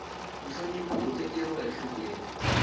nhlonipho wu tekeriwa enhlokweni